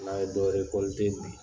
N'an ye dɔ bi